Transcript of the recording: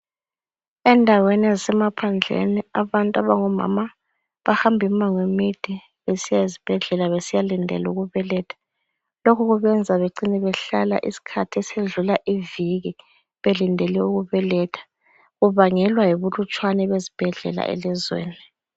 Endaweni ezisemaphandleni abantu abango mama bahamba imango emide besiya ezibhedlela besiya lindela ukubeletha, lokhu kubenza bacine behlala isikhathi esidlula iviki belindele ukubeletha kubangelwa yibulutshwane bezibhedlela elizweni.